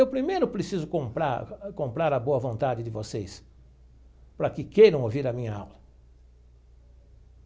Eu primeiro preciso comprar comprar a boa vontade de vocês, para que queiram ouvir a minha aula.